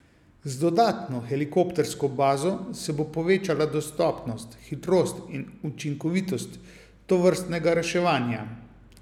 Z dodatno helikoptersko bazo se bo povečala dostopnost, hitrost in učinkovitost tovrstnega reševanja.